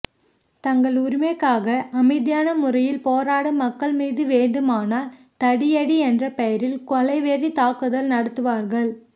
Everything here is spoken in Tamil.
தங்கள் உரிமைக்காக அமைதியான முறையில் போராடும் மக்கள் மீது வேண்டுமானால் தடியடி என்ற பெயரில் கொலை வெறி தாக்குதல் நடத்துவார்கள்